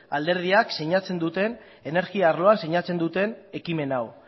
alderdiak energia arloan sinatzen duten ekimen hau